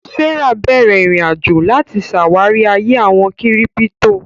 Sarah bẹ̀rẹ̀ ìrìn-àjò láti ṣàwárí ayé àwọn kírípítò